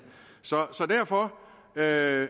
så derfor er